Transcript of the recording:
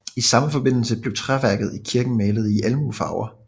I samme forbindelse blev træværket i kirken malet i almuefarver